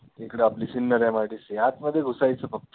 इकडे आपल्या सिन्नर MIDC आतमध्ये घुसायचं फक्त